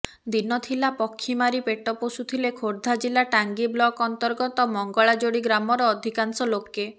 ଦିନଥିଲା ପକ୍ଷୀ ମାରି ପେଟ ପୋଷୁଥିଲେ ଖୋର୍ଦ୍ଧା ଜିଲା ଟାଙ୍ଗୀ ବ୍ଲକ ଅନ୍ତର୍ଗତ ମଙ୍ଗଳାଯୋଡ଼ି ଗ୍ରାମର ଅଧିକାଂଶ ଲୋକେ